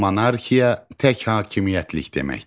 Monarxiya tək hakimiyyətlik deməkdir.